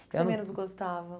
O que você menos gostava? Eu não